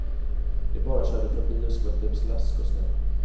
De bara körde förbi och skvätte upp slask och snö.